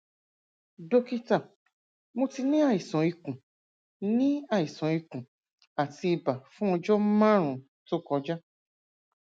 dókítà mo ti ní àìsàn ikùn ní àìsàn ikùn àti ibà fún ọjọ márùnún tó kọjá